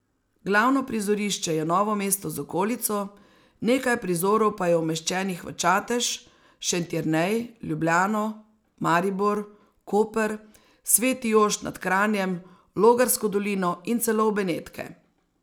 Glavno prizorišče je Novo mesto z okolico, nekaj prizorov pa je umeščenih v Čatež, Šentjernej, Ljubljano, Maribor, Koper, Sveti Jošt nad Kranjem, Logarsko dolino in celo v Benetke.